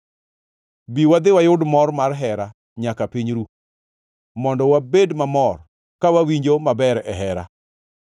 Bi, wadhi wayud mor mar hera nyaka piny ru, mondo wabed mamor ka wawinjo maber e hera!